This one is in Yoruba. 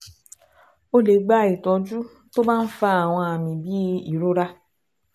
Ó lè gba ìtọ́jú tó bá ń fa àwọn àmì bíi ìrora